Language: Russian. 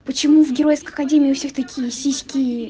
почему в геройской академии у всех такие сиськи